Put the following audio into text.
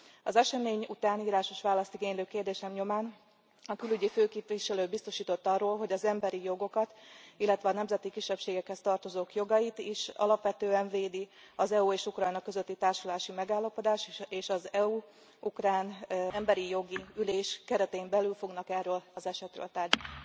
Az esemény után írásos választ igénylő kérdésem nyomán a külügyi főképviselő biztosított arról, hogy az emberi jogokat, illetve a nemzeti kisebbségekhez tartozók jogait is alapvetően védi az EU és Ukrajna közötti társulási megállapodás, és az EU ukrán emberi jogi ülés keretén belül fognak erről az esetről tárgyalni.